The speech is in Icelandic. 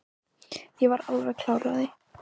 Ég er alveg klár á því.